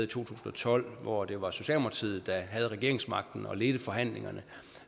tusind og tolv hvor det var socialdemokratiet der havde regeringsmagten og ledte forhandlingerne